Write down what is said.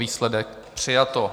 Výsledek: přijato.